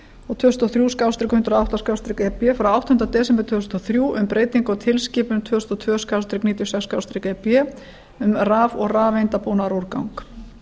og tvö þúsund og þrjú hundrað og átta e b frá áttunda desember tvö þúsund og þrjú um breytingu á tilskipun tvö þúsund og tvö níutíu og sex e b um raf og rafeindabúnaðarúrgang